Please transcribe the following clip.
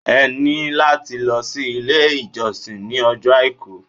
Ẹ ní láti lọ sí ilé-ìjọsìn ní ọjọ́ Àìkú.